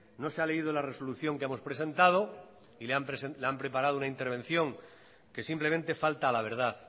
no se ha leído la resolución que hemos presentado y le han preparado una intervención que simplemente falta a la verdad